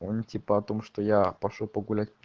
он типа о том что я пошёл погулять